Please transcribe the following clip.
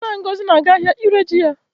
Nna Ngozi na-aga ahịa ire ji ya